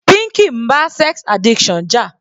Pinky ń bá sex addiction jà.